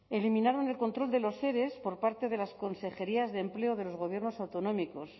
eliminaron el control de los ere por parte de las consejerías de empleo de los gobiernos autonómicos